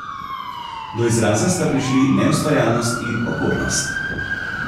Do izraza sta prišli neustvarjalnost in okornost.